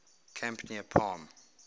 camp near palm